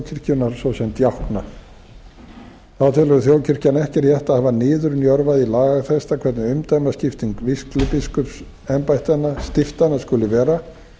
svo sem djákna þá telur þjóðkirkjan ekki rétt að hafa niðurnjörvað í lagatexta hvernig umdæmaskipting vígslubiskupsembættanna stiftanna skuli vera